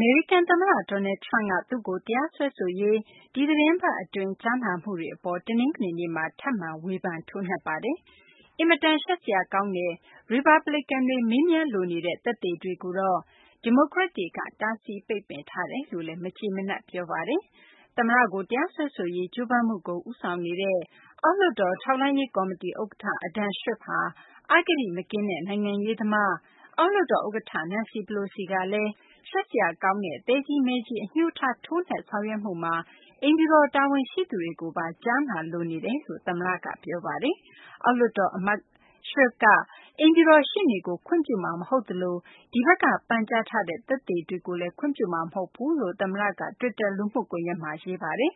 မေရိကန်သမ္မတ Donald Trump က သူ့ကို တရားစွဲဆိုရေး ဒီအပတ်အတွင်း ကြားနာမှုတွေအပေါ် တနင်္ဂနွေနေ့မှာ ထပ်မံ ဝေဖန်ထိုးနှက်ပါတယ်။ အင်မတန် ရှက်စရာကောင်းတယ်၊ ရီပတ်ဘလစ်ကန်တွေ မေးမြန်းလိုနေတဲ့ သက်သေတွေကိုတော့ ဒီမိုကရက်တွေက တားဆီး ပိတ်ပင်ထားတယ်လို့လည်း မကျေမနပ် ပြောဆိုပါတယ်။ သမ္မတကို တရားစွဲဆိုရေး ကြိုးပမ်းမှုကို ဦးဆောင်နေတဲ့ အောက်လွှတ်တော် ထောက်လှမ်းရေးကော်မတီ ဥက္ကဋ္ဌ Adam Schiff ဟာ အဂတိမကင်းတဲ့ နိုင်ငံရေးသမား၊ အောက်လွှတ်တော်ဥက္ကဋ္ဌ Nancy Pelosi ကလည်း ရှက်ဖွယ်ကောင်းတဲ့ သဲကြီးမဲကြီး အငြိုးထား ထိုးနှက်ဆောင်ရွက်မှုမှာ အိမ်ဖြူတော် တာဝန်ရှိသူတွေကိုပါ ကြားနာလိုနေတယ်လို့ သမ္မတက ပြောဆိုခဲ့တာပါ။ အောက်လွှတ်တော်အမတ် Schiff က အိမ်ဖြူတော်ရှေ့နေကို ခွင့်ပြုမှာမဟုတ်သလို ဒီဘက်က ပန်ကြားထားတဲ့ သက်သေတွေကိုလည်း ခွင့်ပြုမှာမဟုတ်ဘူးလို့လည်း သမ္မတက တွစ်တာ လူမှုကွန်ရက်မှာ ရေးပါတယ်